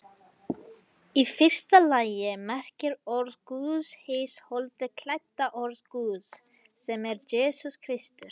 Í fyrsta lagi merkir orð Guðs hið holdi klædda orð Guðs, sem er Jesús Kristur.